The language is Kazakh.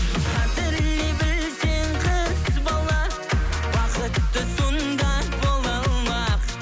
қадірлей білсең қыз бала бақытты сонда бола алмақ